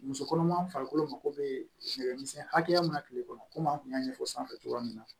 Muso kɔnɔma farikolo mago be nɛgɛmisɛn hakɛya min na kile kɔnɔ komi an kun y'a ɲɛfɔ sanfɛ cogoya min na